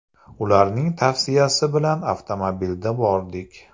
Ularning tavsiyasi bilan avtomobilda bordik.